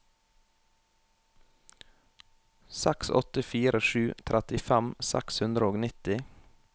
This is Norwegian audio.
seks åtte fire sju trettifem seks hundre og nitti